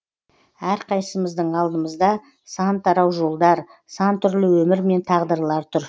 әрқайсымыздың алдымызда сан тарау жолдар сан түрлі өмір мен тағдырлар тұр